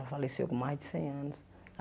Ela faleceu com mais de cem anos.